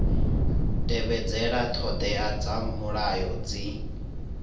tevhedzela ṱhoḓea dza mulayo zwi